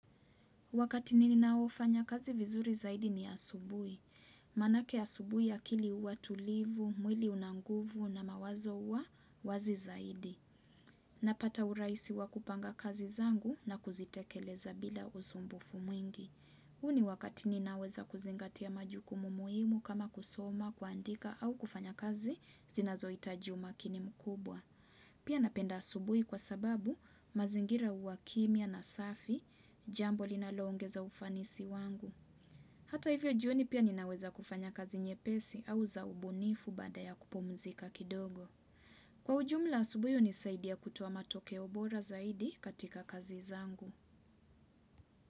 Wakati mimi ninaofanya kazi vizuri zaidi ni asubuhi. Maana yake asubuhi akili huwa tulivu, mwili unanguvu na mawazo huwa wazi zaidi. Napata urahisi wakupanga kazi zangu na kuzitekeleza bila usumbufu mwingi. Huu ni wakati ninaweza kuzingatia majukumu muhimu kama kusoma, kuandika au kufanya kazi zinazo hitaji umakini mkubwa. Pia napenda asubuhi kwa sababu mazingira uwakimya na safi, jambo linalongeza ufanisi wangu. Hata hivyo jioni pia ninaweza kufanya kazi nyepesi au zaubunifu baada ya kupumzika kidogo. Kwa ujumla asubuhi unisaidia kutoa matokeo bora zaidi katika kazi zangu.